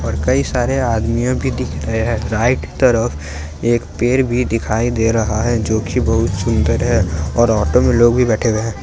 और कई सारे आदमीयो भी दिख रहे हैं। राइट तरफ एक पेड़ भी दिखाई दे रहा है जो की बहुत सुंदर है और ऑटो में लोग भी बैठे हुए हैं।